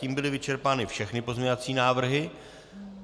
Tím byly vyčerpány všechny pozměňovací návrhy.